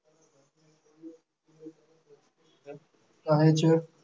કહે છે